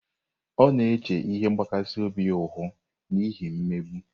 Ọ na-eche ihe mgbakasị obi ihu n'ihi mmegbu.